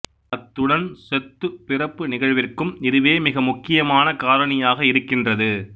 அத்துடன் செத்துப் பிறப்பு நிகழ்விற்கும் இதுவே மிக முக்கியமான காரணியாக இருக்கின்றது